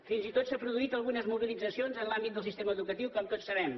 fins i tot s’han produït algunes mobilitzacions en l’àmbit del sistema educatiu com tots sabem